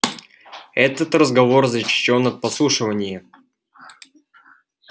этот разговор защищён от подслушивания